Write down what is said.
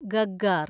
Gaggar